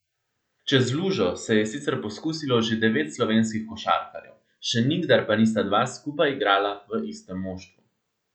Čez lužo se je sicer poskusilo že devet slovenskih košarkarjev, še nikdar pa nista dva skupaj igrala v istem moštvu.